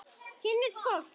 Kynnast fólki.